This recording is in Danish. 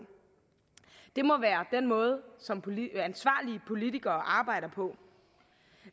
det må være den måde som ansvarlige politikere arbejder på